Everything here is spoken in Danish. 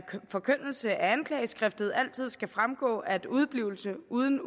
forkyndelse af anklageskriftet altid skal fremgå at udeblivelse uden